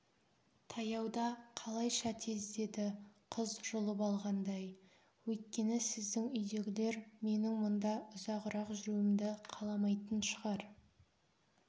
таяуда қалайша тез деді қыз жұлып алғандай өйткені сіздің үйдегілер менің мұнда ұзағырақ жүруімді қаламайтын шығар